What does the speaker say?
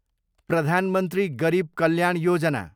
प्रधान मन्त्री गरिब कल्याण योजना